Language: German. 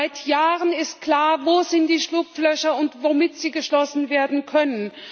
Seit Jahren ist klar, wo die Schlupflöcher sind und womit sie geschlossen werden können.